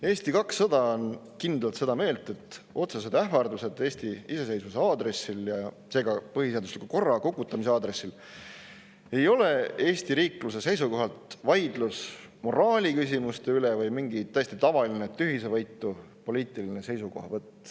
Eesti 200 on kindlalt seda meelt, et otsesed ähvardused Eesti iseseisvuse aadressil ja seega põhiseadusliku korra kukutamise aadressil ei ole Eesti riikluse seisukohalt vaidlus moraaliküsimuste üle või mingi täiesti tavaline, tühisevõitu poliitiline seisukohavõtt.